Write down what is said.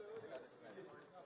Hamısı Azərbaycanlı oyunçudur.